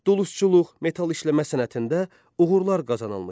Dulusçuluq, metal işləmə sənətində uğurlar qazanılmışdır.